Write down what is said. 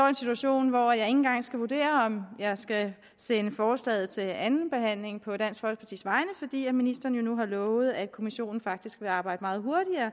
en situation hvor jeg ikke engang skal vurdere om jeg skal sende forslaget til andenbehandling på dansk folkepartis vegne fordi ministeren jo nu har lovet at kommissionen faktisk vil arbejde meget